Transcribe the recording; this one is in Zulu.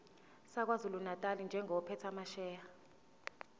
sakwazulunatali njengophethe amasheya